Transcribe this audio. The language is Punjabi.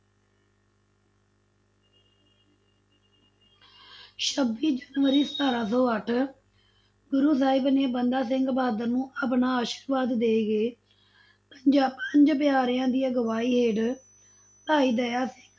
ਛੱਬੀ ਜਨਵਰੀ ਸਤਾਰਾਂ ਸੌ ਅੱਠ, ਗੁਰੂ ਸਾਹਿਬ ਨੇ ਬੰਦਾ ਸਿੰਘ ਬਹਾਦਰ ਨੂੰ ਆਪਣਾ ਆਸ਼ਿਰਵਾਦ ਦੇ ਕੇ, ਪੰਜਾ ਪੰਜ ਪਿਆਰਿਆਂ ਦੀ ਅਗਵਾਈ ਹੇਠ ਭਾਈ ਦਇਆ ਸਿੰਘ,